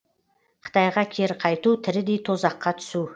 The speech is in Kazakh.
қытайға кері қайту тірідей тозаққа түсу